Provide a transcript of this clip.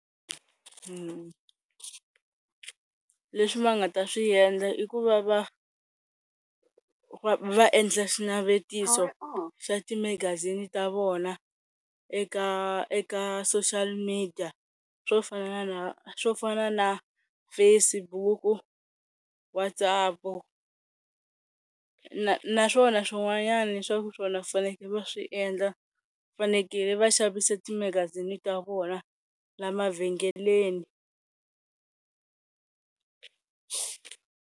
Mmh, leswi va nga ta swi endla i ku va va va endla xinavetiso xa ti magazini ta vona eka eka social media swo fana na swo fana na Facebook, WhatsApp naswona swin'wanyana leswaku swona swi faneleke va swi endla, fanekele va xavisa timagazini ta vona la mavhengeleni.